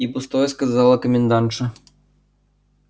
и пустое сказала комендантша